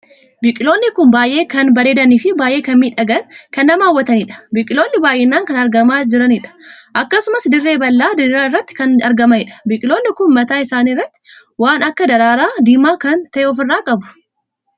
Biqiloonni kun baay'ee kan bareedanii fi baay'ee kan miidhaganii kan nama hawwataniidha. biqiloonni baay'inaan kan argamaa juraniidha. akkasumas dirree bal'aaf diriiraa irratti kan argamaniidha. biqiloonni kun mataa isaanii irratti waan akka daraaraa diimaa kan tahe ofirraa qabu.